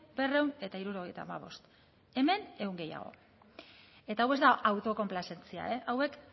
berrehun eta hirurogeita hamabost hemen ehun gehiago eta hau ez da autokonplazentzia hauek